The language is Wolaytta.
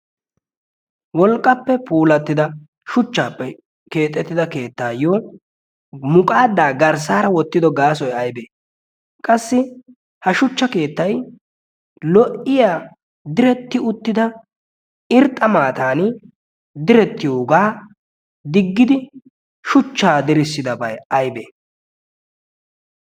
wolqqappe puulattida shuchchaappe keexettida keettaayyo muqaadaa garssaara wottido gaasoy aybee? qassi ha shuchcha keettay lo"iya diretti uttida irxxa maatan direttiyoogaa diggidi shuchchaa dirissidabai aybee?